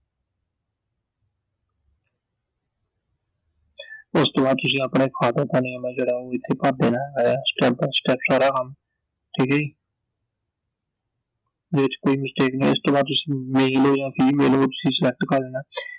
ਉਸ ਤੋਂ ਬਾਅਦ ਤੁਸੀਂ ਆਪਣੇ father ਦਾ name ਆ ਜਿਹੜਾ ਉਹ ਇਥੇ ਭਰ ਦੇਣੈ step by step ਸਾਰਾ ਕੰਮ, ਠੀਕ ਐ ਜੀ I ਉਹ ਚ ਕੋਈ mistake ਨੀ ਹੈ I ਇਸ ਤੋਂ ਬਾਅਦ ਤੁਸੀਂ male ਓ ਯਾਂ female ਓ ਉਹ ਤੁਸੀਂ select ਕਰ ਦੇਣੈ I